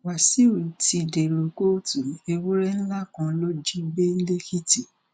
wàsíù ti dèrò kóòtù ewúrẹ ńlá kan ló jí gbé lẹkìtì